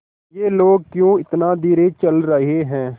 ये लोग क्यों इतना धीरे चल रहे हैं